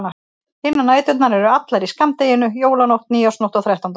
Hinar næturnar eru allar í skammdeginu: Jólanótt, nýársnótt og þrettándanótt.